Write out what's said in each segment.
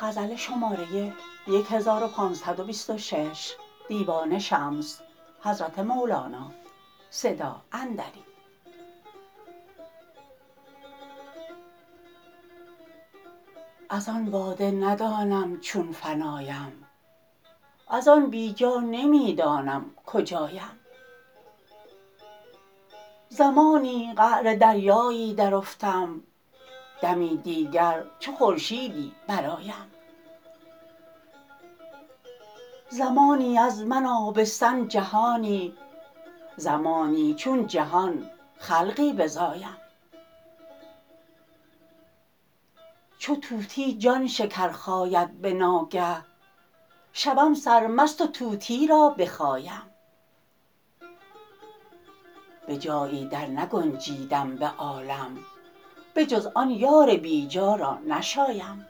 از آن باده ندانم چون فنایم از آن بی جا نمی دانم کجایم زمانی قعر دریایی درافتم دمی دیگر چو خورشیدی برآیم زمانی از من آبستن جهانی زمانی چون جهان خلقی بزایم چو طوطی جان شکر خاید به ناگه شوم سرمست و طوطی را بخایم به جایی درنگنجیدم به عالم بجز آن یار بی جا را نشایم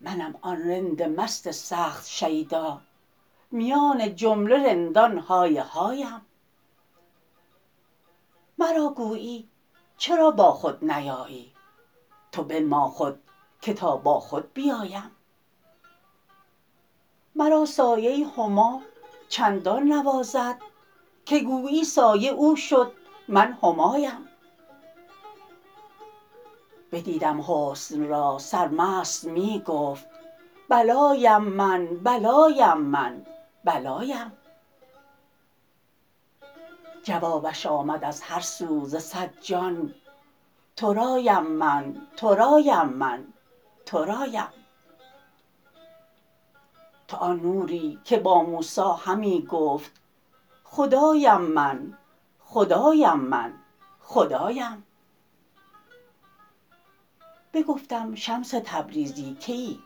منم آن رند مست سخت شیدا میان جمله رندان های هایم مرا گویی چرا با خود نیایی تو بنما خود که تا با خود بیایم مرا سایه ی هما چندان نوازد که گویی سایه او شد من همایم بدیدم حسن را سرمست می گفت بلایم من بلایم من بلایم جوابش آمد از هر سو ز صد جان ترایم من ترایم من ترایم تو آن نوری که با موسی همی گفت خدایم من خدایم من خدایم بگفتم شمس تبریزی کیی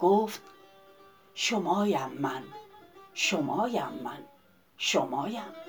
گفت شمایم من شمایم من شمایم